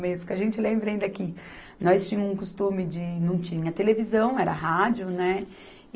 Mesmo. Porque a gente, lembra ainda que, nós tínhamos um costume de... não tinha televisão, era rádio, né?